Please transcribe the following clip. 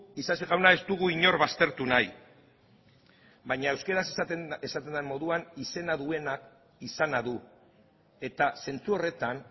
isasi jauna ez dugu inor baztertu nahi baina euskaraz esaten den moduan izena duenak izana du eta zentzu horretan